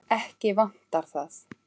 Ekki vantar það.